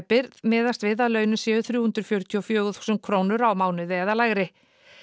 miðast við að launin séu þrjú hundruð fjörutíu og fjögur þúsund krónur á mánuði eða lægri